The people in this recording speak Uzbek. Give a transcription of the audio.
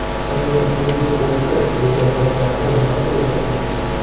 Agar u yo‘q bo‘lsa, legionerlardan nima foyda?